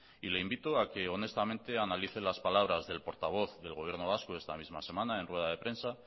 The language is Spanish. y le invito a que honestamente analice las palabras del portavoz del gobierno vasco esta misma semana en rueda de prensa